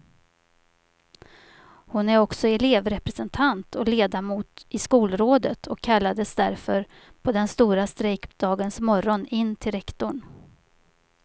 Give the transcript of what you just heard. Hon är också elevrepresentant och ledamot i skolrådet och kallades därför på den stora strejkdagens morgon in till rektorn.